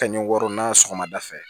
Kanni wari n'a sɔgɔmada fɛ